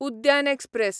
उद्यान एक्सप्रॅस